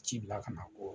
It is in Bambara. Ci bila ka na ko